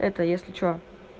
это если что